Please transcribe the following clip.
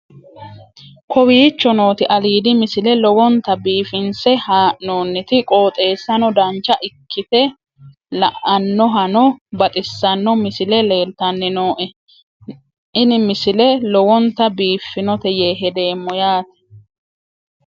kowicho nooti aliidi misile lowonta biifinse haa'noonniti qooxeessano dancha ikkite la'annohano baxissanno misile leeltanni nooe ini misile lowonta biifffinnote yee hedeemmo yaate